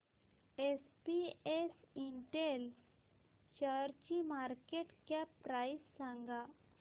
SPS Intel शेअरची market cap price सांगा